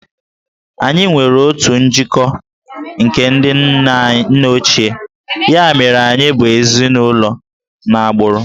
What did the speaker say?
Anyị nwere otu njikọ nke ndị nna ochie, ya mere anyị bụ ezinụlọ n'agbụrụ